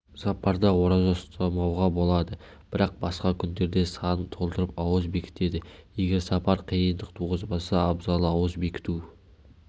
сапарда ораза ұстамауға болады бірақ басқа күндерде санын толтырып ауыз бекітеді егер сапар қиындық туғызбаса абзалы ауыз бекіту